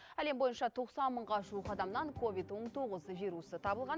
әлем бойынша тоқсан мыңға жуық адамнан ковид он тоғыз вирусы табылған